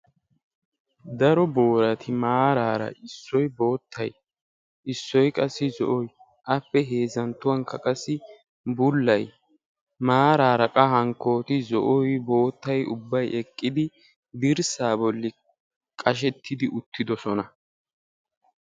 Daro booratti maarara boottay, zo'oynne bullaay maarara dirssa bolla qashshetti uttidosonna.